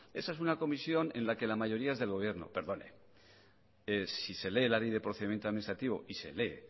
esa es una comisión en la que la mayoría es del gobierno perdone si se lee la ley de procedimiento administrativo y se lee